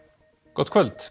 gott kvöld